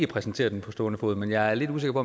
præsentere det på stående fod men jeg er lidt usikker